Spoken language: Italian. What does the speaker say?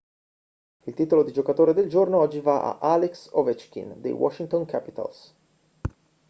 il titolo di giocatore del giorno oggi va a alex ovechkin dei washington capitals